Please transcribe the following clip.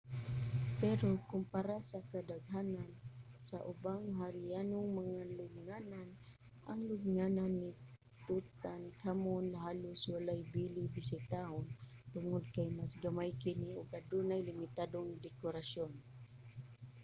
pero kumpara sa kadaghanan sa ubang harianong mga lubnganan ang lubnganan ni tutankhamun halos walay bili bisitahon tungod kay mas gamay kini ug adunay limitadong dekorasyon